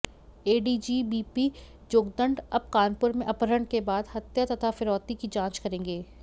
ADG B P Jogdand अब कानपुर में अपहरण के बाद हत्या तथा फिरौती की जांच करेंगे